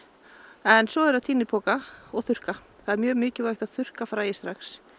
en svo er að tína í poka og þurrka það er mjög mikilvægt að þurrka fræið strax